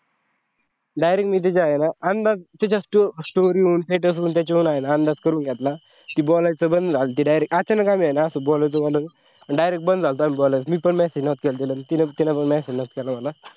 direct मी तिच्या आहे न अंदाज तिच्या story ऊन status ऊन त्याच्यावरून अंदाज करून गेतला की बोलायचं बंद झालती direct अचानक म्हणजे आम्ही असा बोलायचो बोलायचो अन direct बंद झालतो आम्ही बोलायचं, मी पण message नव्हता केला तिला तिने पण message नव्हता केला मला.